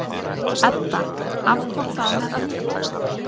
Edda aftók það með öllu.